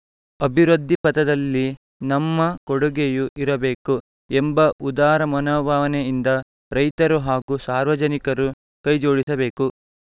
ಅಭಿವೃದ್ಧಿ ಪಥದಲ್ಲಿ ನಮ್ಮ ಕೊಡುಗೆಯೂ ಇರಬೇಕು ಎಂಬ ಉದಾರ ಮನೋಭಾವನೆಯಿಂದ ರೈತರು ಹಾಗೂ ಸಾರ್ವಜನಿಕರು ಕೈ ಜೋಡಿಸಬೇಕು